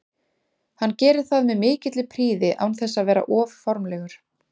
Hann gerir það með mikilli prýði án þess að vera of formlegur.